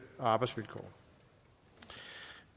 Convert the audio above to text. og arbejdsvilkår